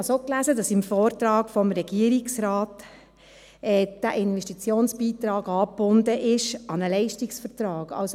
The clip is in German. Ich habe es auch gelesen, dass im Vortrag des Regierungsrates der Investitionsbeitrag an einen Leistungsvertrag gebunden ist.